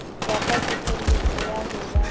ya kekeletso ya ho ba